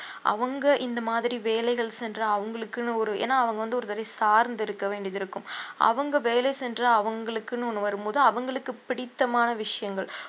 அவுங்க இந்த மாதிரி வேலைகள் சென்ற அவுங்களுக்குன்னு ஒரு ஏன்னா அவுங்க வந்து ஒருவரை சார்ந்து இருக்க வேண்டியது இருக்கும் அவுங்க வேலை சென்ற அவுங்களுக்குன்னு ஒண்ணு வரும்போது அவுங்களுக்கு பிடித்தமான விஷயங்கள்